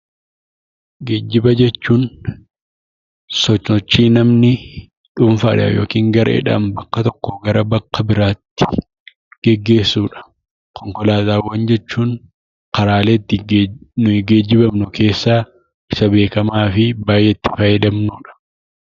Geejiba jechuun sosochii namni tokko dhuunfaadhaan yookaan gareedhaan bakka tokkoo gara bakka biraatti gaggeessudha. Konkolaataawwan jechuun karaalee nuti ittiin geejibamnu keessaa isa beekamaa fi baayyee itti fayyadamnudha.